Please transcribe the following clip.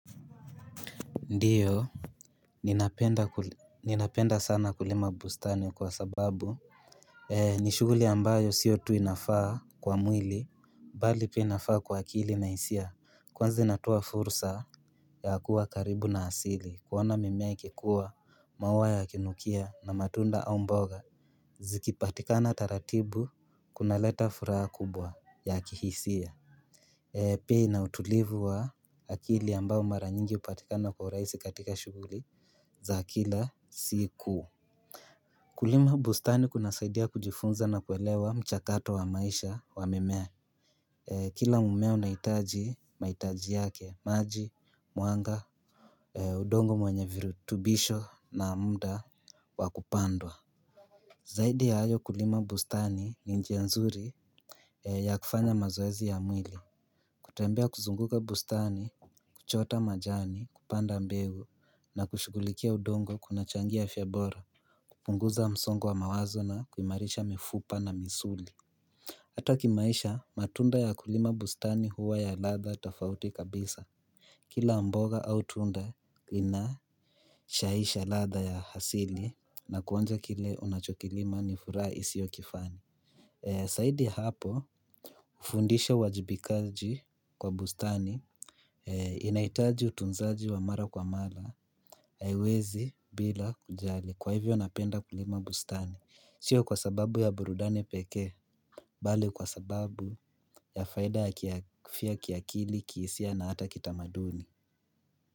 Ndiyo Ninapenda sana kulima bustani kwa sababu ni shuguli ambayo siyo tu inafaa kwa mwili bali pia inafaa kwa akili na hisia kwanza inatoa fursa ya kuwa karibu na asili kuona mimea ikikuwa maua ya kinukia na matunda au mboga Zikipatikana taratibu kuna leta furaha kubwa ya kihisia bei na utulivu wa akili ambayo mara nyingi hupatikana kwa uraisi katika shuguli za kila siku kulima bustani kuna saidia kujifunza na kuelewa mchakato wa maisha wa mimea Kila mmea unahitaji, mahitaji yake, maji, mwanga udongo mwenye virutubisho na muda wakupandwa Zaidi hayo kulima bustani ni nji nzuri ya kufanya mazoezi ya mwili kutembea kuzunguka bustani, kuchota majani, kupanda mbegu na kushughulikia udongo kuna changia afya bora kupunguza msongo mawazo kuimarisha mifupa na misuli Hata kimaisha matunda ya kulima bustani huwa ya ladha tofauti kabisa Kila mboga au tunda ina shahisha ladha ya asili na kuonja kile unachokilima ni furaha isiyo kifani zaidi ya hapo hufundisha uwajibikaji kwa bustani Inahitaji utunzaji wa mara kwa mara haiwezi bila kujali kwa hivyo napenda kulima bustani Sio kwa sababu ya burudani pekee, bali kwa sababu ya faida ya kiafya kiakili kihisia na hata kitamaduni.